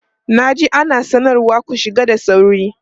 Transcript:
Na ji ana sanarwa "ku shiga da sauri"!